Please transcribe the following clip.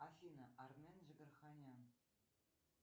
афина армен джигарханян